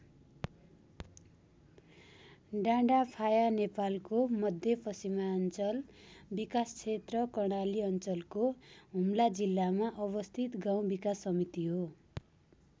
डाँडाफाया नेपालको मध्यपश्चिमाञ्चल विकासक्षेत्र कर्णाली अञ्चलको हुम्ला जिल्लामा अवस्थित गाउँ विकास समिति हो।